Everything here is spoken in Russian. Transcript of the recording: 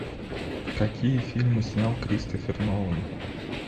какие фильмы снял кристофер нолан